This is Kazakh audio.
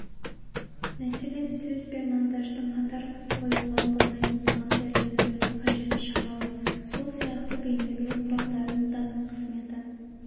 мәселен сөз бен монтажды қатар қоюға болмайтындығын дәлелдеудің қажеті шамалы сол сияқты бейнелеу құралдарының да қызметі